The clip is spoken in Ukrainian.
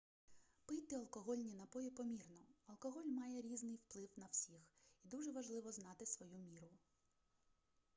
пийте алкогольні напої помірно алкоголь має різний вплив на всіх і дуже важливо знати свою міру